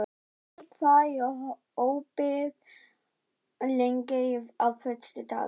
Ævar, hvað er opið lengi á föstudaginn?